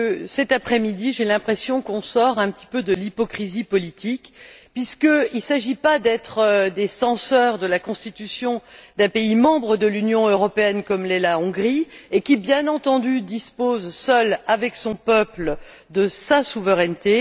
Cet après midi, j'ai l'impression qu'on sort un petit peu de l'hypocrisie politique, puisqu'il ne s'agit pas d'être des censeurs de la Constitution d'un pays membre de l'Union européenne comme l'est la Hongrie et qui, bien entendu, dispose seule, avec son peuple, de sa souveraineté.